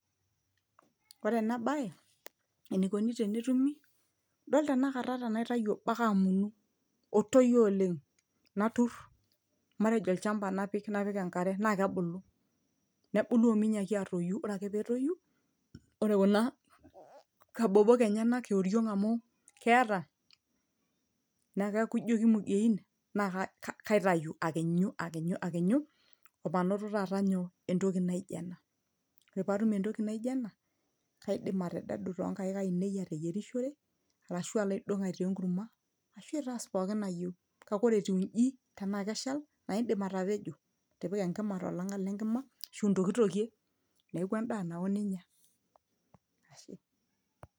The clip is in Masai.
ore ena baye enikoni tenetumi idol tenakata tenaitayu obo ake amunu otoyio oleng naturr matejo olchamba napik, napik enkare naa kebuku ominyiaki atoyu ore ake petoyu ore kuna kabobok enyenak ioriong amu keeta ne keeku ijio kimugein naa ka kaitayu akinyu akinyu akinyu omanoto taata nyoo entoki naijo ena ore paatum entoki naijo ena kaidim atededu tonkaik ainei ateyiwerishore arashu alo aidong aitaa enkurma ashu aitaas pookin nayieu kake ore etiu inji tenaa keshal naa indim atapejo atipika enkima tolang'at lenkima ashu intokitokie neeku endaa nawo ninyia ashe.